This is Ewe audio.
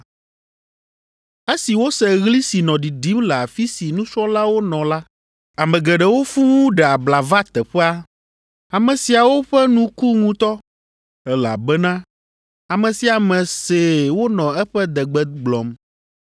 Esi wose ɣli si nɔ ɖiɖim le afi si nusrɔ̃lawo nɔ la, ame geɖewo fũu ɖe abla va teƒea. Ame siawo ƒe nu ku ŋutɔ, elabena ame sia ame see wonɔ eƒe degbe gblɔm.